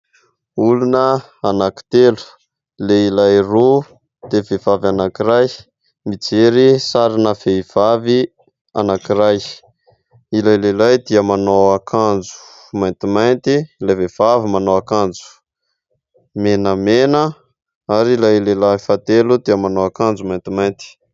Olona anankitelo : lehilahy roa dia vehivavy anankiray, mijery sarina vehivavy anankiray. Ilay lehilahy dia manao akanjo maintimainty, ilay vehivavy manao akanjo menamena ary ilay lehilahy fahatelo dia manao akanjo maintimainty.